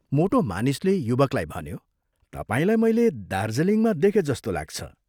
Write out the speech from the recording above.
मोटो मानिसले युवकलाई भन्यो, " तपाईलाई मैले दार्जीलिङमा देखे जस्तो लाग्छ।